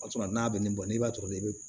O y'a sɔrɔ n'a bɛ nin bɔ n'i b'a sɔrɔ i bɛ